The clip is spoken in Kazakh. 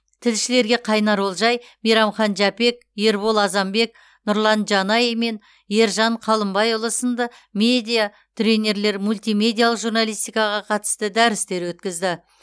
тілшілерге қайнар олжай мейрамхан жәпек ербол азанбек нұрлан жанай мен ержан қалымбайұлы сынды медиа тренерлер мультимедиалық журналистикаға қатысты дәрістер өткізді